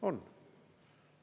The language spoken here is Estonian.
On!